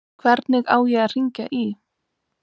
Hvernig á ég að hringja í?